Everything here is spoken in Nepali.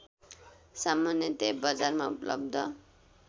सामान्यतः बजारमा उपलब्ध